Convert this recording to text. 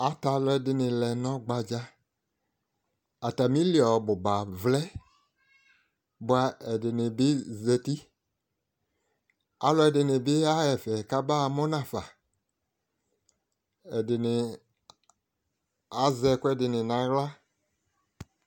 Atɛ alʋ ɛdɩnɩ lɛ nʋ ɔgbadza Atamili ɔbʋ ba vlɛ, bʋa ɛdɩnɩ bɩ zati Alʋ ɛdɩnɩ bɩ yaɣa ɛfɛ kabaɣamʋ nʋ afa Ɛdɩnɩ azɛ ɛkʋ ɛdɩnɩ nʋ aɣla